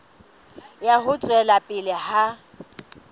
ya ho tswela pele ha